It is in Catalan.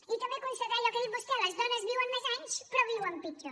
i també constatar allò que ha dit vostè les dones viuen més anys però viuen pitjor